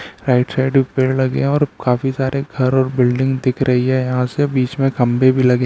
Right side भी पेड़ लगे हैं और काफी सारे घर और बिल्डिंग दिख रही है यहाँ से बीच में खंबे भी लगे हैं।